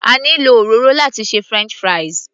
A ní lo òróró láti ṣe french fries